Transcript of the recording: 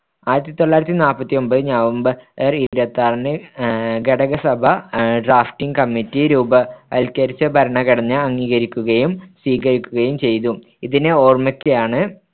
ആയിരത്തിതൊള്ളായിരത്തിനാല്പത്തിയൊമ്പത് November‍ ഇരുപത്തിയാറിന് ആഹ് ഘടകസഭ drafting committee രൂപവത്കരിച്ച ഭരണഘടന അംഗീകരിക്കുകയും സ്വീകരിക്കുകയും ചെയ്തു ഇതിനെ ഓർമ്മയ്ക്കായാണ്